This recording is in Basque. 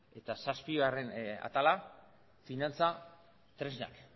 eta zazpigarren atala finantza tresnak